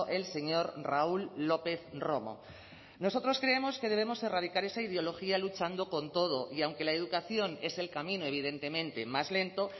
el señor raúl lópez romo nosotros creemos que debemos erradicar esa ideología luchando con todo y aunque la educación es el camino evidentemente más lento